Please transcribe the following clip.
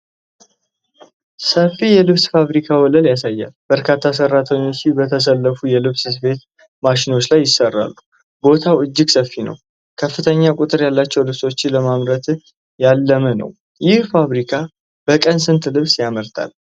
ሰፊ የልብስ ፋብሪካ ወለል ያሳያል። በርካታ ሰራተኞች በተሰለፉ የልብስ ስፌት ማሽኖች ላይ ይሰራሉ። ቦታው እጅግ ሰፊ ነው፤ ከፍተኛ ቁጥር ያላቸውን ልብሶች ለማምረት ያለመ ነው። ይህ ፋብሪካ በቀን ስንት ልብስ ያመርታል?